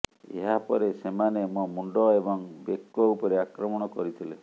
ଏହାପରେ ସେମାନେ ମୋ ମୁଣ୍ଡ ଏହଂ ବେକ ଉପରେ ଆକ୍ରମଣ କରିଥିଲେ